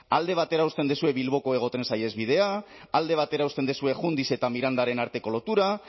alde batera uzten dituzue bilboko hego tren saihesbidea alde batera uzten duzue jundiz eta mirandaren arteko lotura